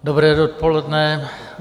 Dobré dopoledne.